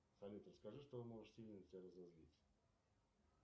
салют расскажи что может сильно тебя разозлить